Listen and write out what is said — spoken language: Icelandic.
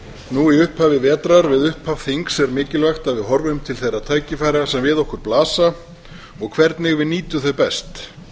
nú í upphafi vetrar við upphaf þings er mikilvægt að við horfum til þeirra tækifæra sem við okkur blasa og hvernig við nýjum þau best